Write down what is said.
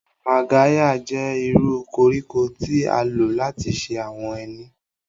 Magarya jẹ iru koriko ti a lo lati ṣe awọn eni.